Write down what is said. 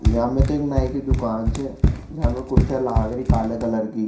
यहाँ मे एक नई की दुकान छे जाम कुर्सियां लाग री काला कलर की।